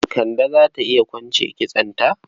Kande za ta iya kwance kitsonta.